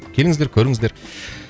келіңіздер көріңіздер